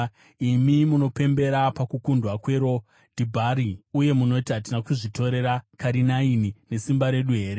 imi munopembera pakukundwa kweRo Dhibhari uye munoti, “Hatina kuzvitorera Karinaini nesimba redu here?”